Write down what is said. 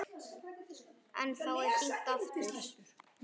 En þá er hringt aftur.